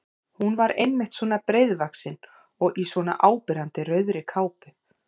Hún var einmitt svona breiðvaxin og í svona áberandi rauðri kápu!